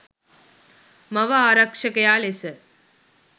මව ආරක්ෂකයා ලෙස